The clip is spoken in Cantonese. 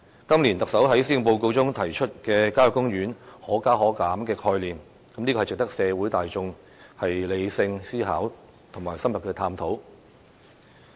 今年，特首在施政報告中提出效野公園"可加可減"的概念，值得社會大眾理性思考和深入探討。